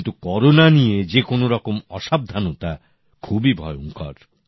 কিন্তু করোনা নিয়ে যে কোনো রকম অসাবধানতা খুবই ভয়ংকর